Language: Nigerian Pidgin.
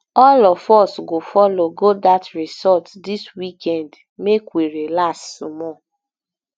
all of us go folo go dat resort dis weekend make we relax small